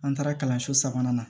An taara kalanso sabanan na